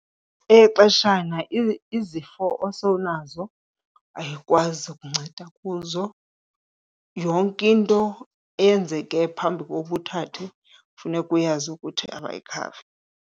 Eyexeshana, izifo osowunazo ayikwazi ukunceda kuzo, yonke into eyenzeke phambi kokuba uthathe funeka uyazi ukuthi abayikhavi.